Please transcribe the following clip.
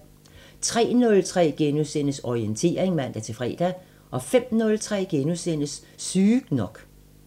03:03: Orientering *(man-fre) 05:03: Sygt nok *